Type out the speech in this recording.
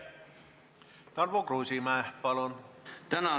Tarmo Kruusimäe, palun!